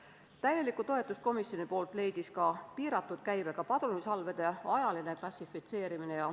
Komisjoni täieliku toetuse sai piiratud käibega padrunisalvede ajaline klassifitseerimine.